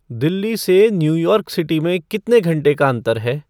दिल्ली से New York City में कितने घंटे का अंतर है